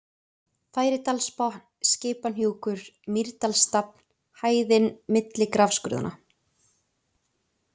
Færidalsbotn, Skipahnjúkur, Mýrdalsstafn, Hæðin milli Grafskurðanna